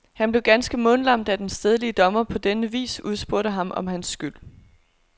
Han blev ganske mundlam, da den stedlige dommer på denne vis udspurgte ham om hans skyld.